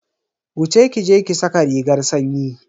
Wuce ki je ki saka rigar sanyi.